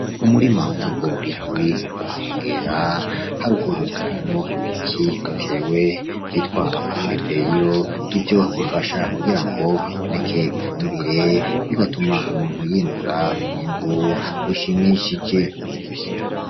Umurima w'ibigori uri ku nkengera, haruguru harimwo ibiti bitewe vyitwa amagereveriyo, ivyo bifasha kugirango haboneke ifumbire, bigatuma umuntu yimbura umwimbu ushimishije.